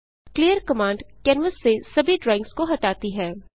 clear command canvas से सभी drawings को हटाती है